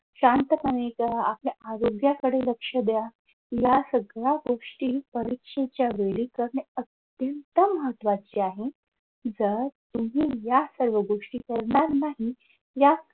शांतपणे आपल्या आरोग्याकडे लक्ष द्या. ह्या सगळ्या गोष्टी परीक्षेच्या वेळी करणे अत्यंत महत्त्वाचे आहे. जर तुम्ही या सर्व गोष्टी करणार नाही. या